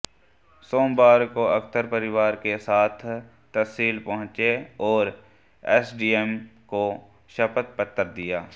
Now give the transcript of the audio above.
सोमवार को अख्तर परिवार के साथ तहसील पहुंचे और एसडीएम को शपथ पत्र दिया